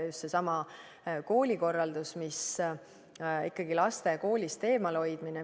Just seesama koolikorraldus, laste koolist eemalhoidmine.